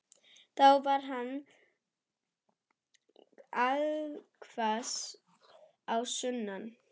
Þá var hann allhvass á sunnan.